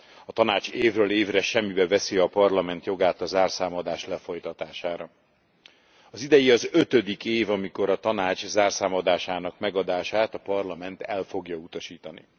A Tanács évről évre semmibe veszi a Parlament jogát a zárszámadás lefolytatására. Az idei az ötödik év, amikor a Tanács zárszámadásának megadását a Parlament el fogja utasítani.